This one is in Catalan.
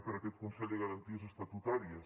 pel consell de garanties estatutàries